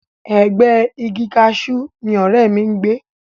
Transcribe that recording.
Ẹ̀gbẹ́ẹ igi kaṣú ni ọ̀rẹ́ mi ń gbé